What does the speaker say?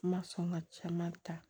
Ma sɔn ka caman ta